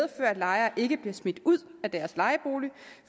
lejere ikke bliver smidt ud af deres lejeboliger